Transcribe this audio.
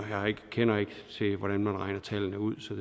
hvordan man regner tallene ud så